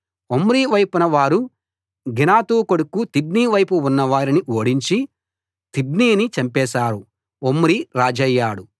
Omri వైపున్న వారు Ginath కొడుకు తిబ్నీ వైపున్న వారిని ఓడించి తిబ్నీని చంపేశారు ఒమ్రీ రాజయ్యాడు